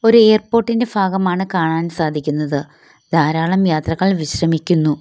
ഒരു എയർപോർട്ടിന്റെ ഭാഗമാണ് കാണാൻ സാധിക്കുന്നത് ധാരാളം യാത്രക്കാർ വിശ്രമിക്കുന്നു.